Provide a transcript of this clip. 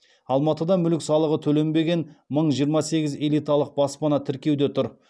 алматыда мүлік салығы төленбеген мың жиырма сегіз элиталық баспана тіркеуде тұр